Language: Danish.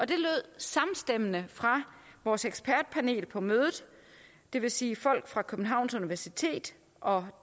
det lød samstemmende fra vores ekspertpanel på mødet det vil sige folk fra københavns universitet og